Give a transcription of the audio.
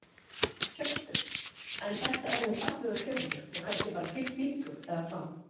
Hjörtur: En þetta er nú fallegur fjörður og kannski bara fínn bíltúr eða hvað?